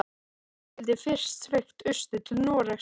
Þá skyldi fyrst sveigt austur til Noregs.